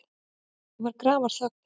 Það var grafarþögn.